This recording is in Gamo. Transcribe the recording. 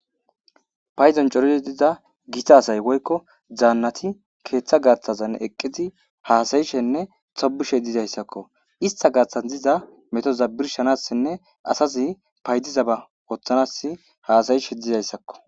payzon coridi diza gita asay woykko zaannati keeththa gaaththazan eqqizi haasayishenne xobishe didayssakko ista gaaththas diza metoza birshanassenne asazi paydizaba ooththanas haasayishe dizayssakko